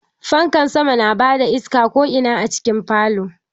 Fanka sama na ba da iska ko'ina a cikin falo.